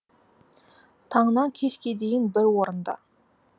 таңнан кешке дейін бір орында